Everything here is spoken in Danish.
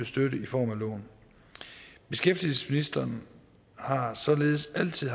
støtte i form af lån beskæftigelsesministeren har således altid